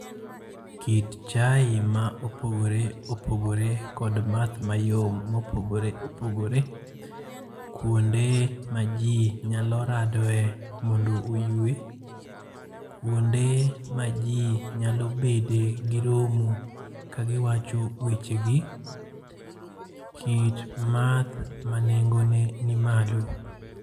Kit chae ma opogore opogore kod math mayom mopogore opogore. Kuonde ma ji nyalo radoe mondo oywe. Kuonde ma ji nyalo bede gi romo kagiwacho weche gi. Kit math manengo ne ni malo.